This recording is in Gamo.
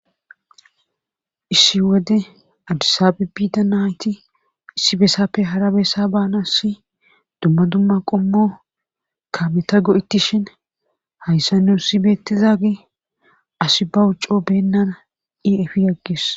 issi wode adisaabe biida nayti issi beesappe harabessa baanasi dumma dumma qommo ka meta go7ettishin hayssa nussi beettizagi asi bawu coo beennan i efi agges